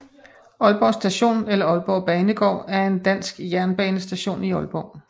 Aalborg Station eller Aalborg Banegård er en dansk jernbanestation i Aalborg